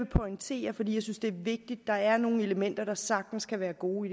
pointere fordi jeg synes det er vigtigt der er nogle elementer der sagtens skal være gode